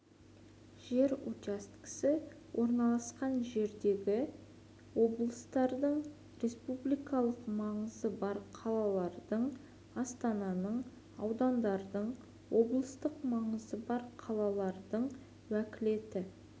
жер учаскесі орналасқан жердегі облыстардың республикалық маңызы бар қалалардың астананың аудандардың облыстық маңызы бар қалалардың уәкілетті